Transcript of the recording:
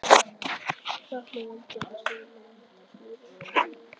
Þarna vann Gerður stóra lágmynd úr smíðajárni í þremur víddum.